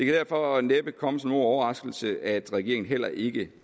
derfor næppe komme som nogen overraskelse at regeringen heller ikke